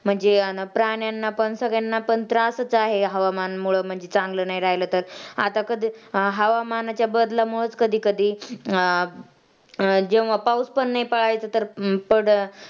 म्हणजे प्राण्यांना पण सगळ्यांना पण त्रासच आहे म्हणजे हवामान मुळं चांगलं नाही राहिलं तर आता कधी हवामानाच्या बदलामुळंच कधीकधी अं अं जेंव्हा पाऊस पण नाही पडायचा तर पड